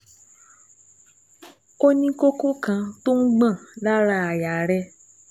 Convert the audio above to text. Ó ní kókó kan tó ń gbọ̀n lára àyà rẹ̀